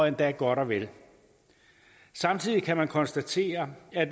endda godt og vel samtidig kan man konstatere at